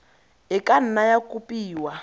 e ka nna ya kopiwa